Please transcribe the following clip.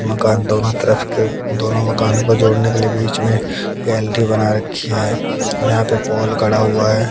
मकान दोनों तरफ के दोनों मकानों को जोड़ने के लिए बीच में गैलरी बना रखी है यहां पे पोल खड़ा हुआ है।